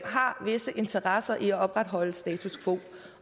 har visse interesser i at opretholde status quo